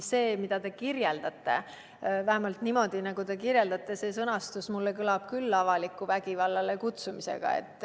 See, mida te kirjeldate, vähemalt niimoodi, nagu te kirjeldate, sellises sõnastuses, kõlab mulle küll avaliku vägivallale kutsumisena.